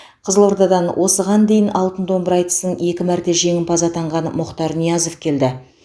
қызылордадан осыған дейін алтын домбыра айтысын екі мәрте жеңімпазы атанған мұхтар ниязов келді